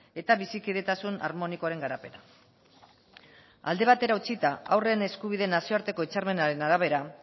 eta bizikidetasun harmonikoaren garapena alde batera utzita haurren eskubideen nazioarteko hitzarmenaren arabera